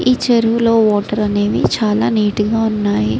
ఈ చెరువులో వాటర్ అనేవి చాలా నీట్ గా వున్నాయి.